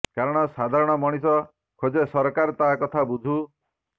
କାରଣ ସାଧାରଣ ମଣିଷ ଖୋଜେ ସରକାର ତା କଥା ବୁଝୁ